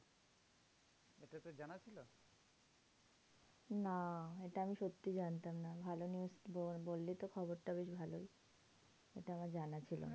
না, এটা আমি সত্যি জানতাম না। ভালো news বল বললিতো খবরটা বেশ ভালোই। এটা আমার জানা ছিল না।